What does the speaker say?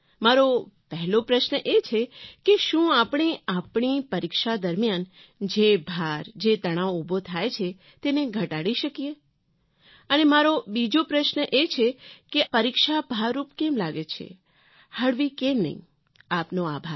મારો પહેલો પ્રશ્ન એ છે કે શું આપણે આપણી પરીક્ષા દરમિયાન જે ભાર જે તણાવ ઊભો થાય છે તેને ઘટાડી શકીએ અને મારો બીજો પ્રશ્ન એ છે કે અથવા પરીક્ષા ભાર રૂપ કેમ લાગે છે હળવી કેમ નહીં આપનો આભાર